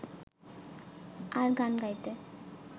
আর গান গাইতে